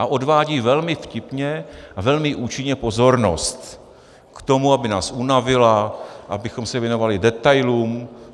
A odvádí velmi vtipně a velmi účinně pozornost k tomu, aby nás unavila, abychom se věnovali detailům.